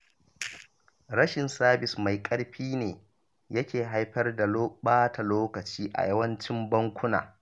Rashin sabis mai ƙarfi ne yake haifar da ɓata lokaci a yawancin bankuna